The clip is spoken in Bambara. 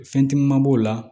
Fɛn caman b'o la